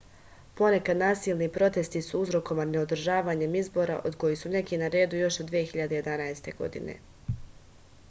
ponekad nasilni protesti su uzrokovani neodržavanjem izbora od kojih su neki na redu još od 2011. godine